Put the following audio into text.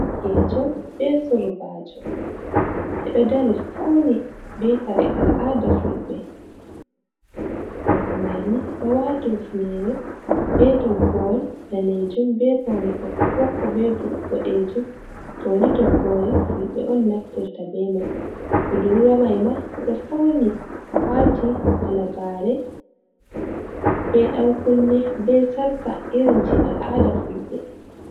Dogejo be surbajo ɓeɗo dari fauni be kare al'aada fulɓe. Gorko mai ni ɗo waati hufnere be toggo'al danejum be paune ɓokko-ɓokko be boɗejum toni toggore fulɓe on naftirta be mai. Budurwa mai ma oɗo fauni wati halagare, be ɗan kunne, be sarka irin je al'aada fulɓe.